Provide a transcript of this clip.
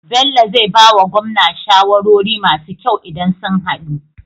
Bello zai bawa gwamna shawarori masu kyau idan sun hadu